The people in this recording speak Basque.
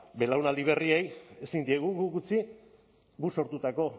belaunaldi berriei ezin diegu guk utzi guk sortutako